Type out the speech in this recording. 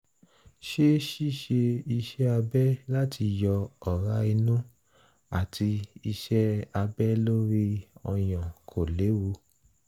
ṣé ṣíṣe iṣẹ́ abẹ láti yọ ọ̀rá inú àti iṣẹ́ abẹ lórí ọyàn kò léwu?